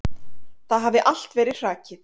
Það hafi allt verið hrakið.